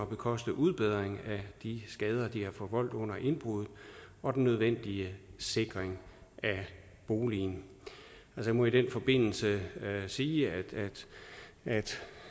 bekoste udbedring af de skader de har forvoldt under indbruddet og den nødvendige sikring af boligen jeg må i den forbindelse sige at